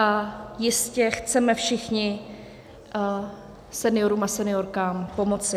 A jistě chceme všichni seniorům a seniorkám pomoci.